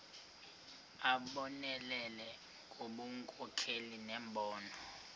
abonelele ngobunkokheli nembono